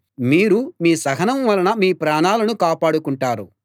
మీరు మీ సహనం వలన మీ ప్రాణాలను కాపాడుకుంటారు